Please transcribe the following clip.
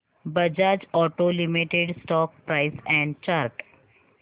Bajaj Auto Limited stock price and chart